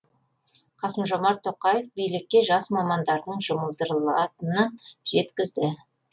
қасым жомарт тоқаев билікке жас мамандардың жұмылдырылатынын жеткізді